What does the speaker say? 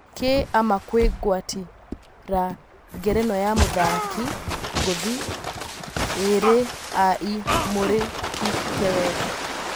Kĩ ama kwĩ gwatĩ ra ngerenwa ya mũthaki ngũthi ĩ rĩ a ĩ mũrĩ hĩ te wega.